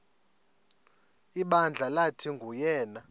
ibandla lathi nguyena